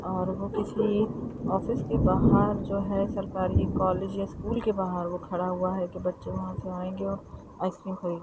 और वह किसी ऑफिस के बाहर जो है सरकारी कॉलेज स्कूल के बाहर वो खड़ा हुआ है की बच्चे वहाँ से आएंगे और आइस क्रीम खरीद--